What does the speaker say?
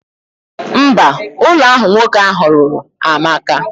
Mba, Ulo ahu nwoke ahu lulu amaka.